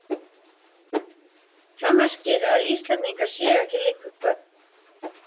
Það merkir að Íslendingar séu ekki lengur börn.